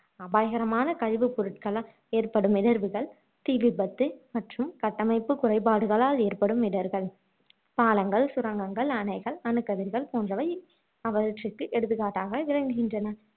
அபாயகரமான கழிவுப் பொருட்களால் ஏற்படும் இடர்வுகள் தீ விபத்து மற்றும் கட்டமைப்பு குறைபாடுகளால் ஏற்படும் இடர்கள். பாலங்கள், சுரங்கங்கள், அணைகள், அணுக்கதிர்கள் போன்றவை அவற்றுக்கு எடுத்துகாட்டாக விளங்குகின்றன